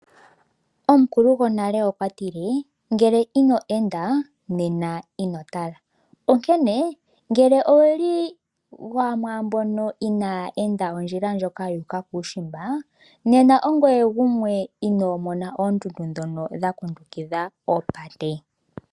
Omukulu gonale okwa tile ngele ino enda nena ino tala onkene ngele owuli gumwe gomwaambono inaya enda ondjila ndjoka ya uka kuumbimba, nena ongoye gumwe inoo mona oondundu dhono dha kundukidha oopate.